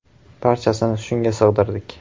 Barchasini shunga sig‘dirdik.